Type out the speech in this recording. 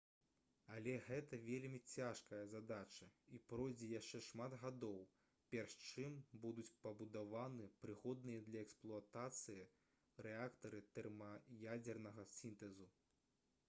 але гэта вельмі цяжкая задача і пройдзе яшчэ шмат гадоў перш чым будуць пабудаваны прыгодныя для эксплуатацыі рэактары тэрмаядзернага сінтэзу